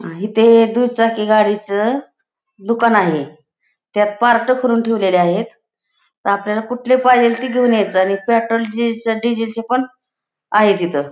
आणि ते दुचाकी गाडीचं दुकान आहे त्यात पार्ट करून ठेवलेले आहेत आपल्याला कुठला पाहिजेल ते घेऊन यायच आणि पेट्रोल डी डिझेलचे पण आहे तिथ.